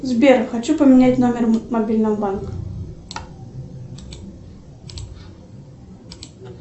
сбер хочу поменять номер мобильного банка